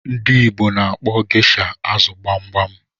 Ndị Igbo na-akpọ geisha azụ gbogbom